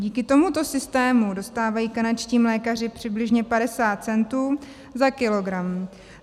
Díky tomuto systému dostávají kanadští mlékaři přibližně 50 centů za kilogram.